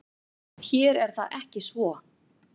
Hér er það ekki svo.